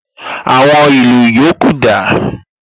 Àwọn ìlù yòókù dà?